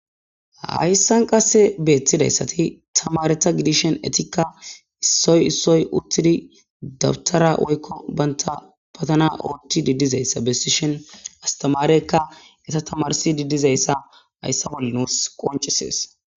hayssan qase beettidayssati tamareta gidishen etikka issoy issoy uttidi dabtara woykko banta patana oochchi diddizayssa besishen astamareykka eta tamarsi diddizayssa hayssa bolle nuus qoncisees